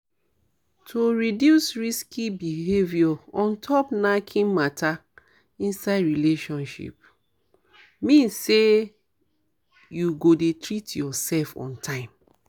to reduce risky behavior ontop knacking matter inside relationship mean say you go dey treat yourself on time